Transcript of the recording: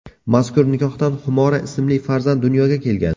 Mazkur nikohdan Xumora ismli farzand dunyoga kelgan.